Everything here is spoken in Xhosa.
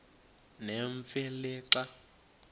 nemfe le xa